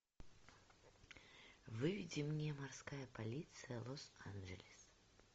выведи мне морская полиция лос анджелес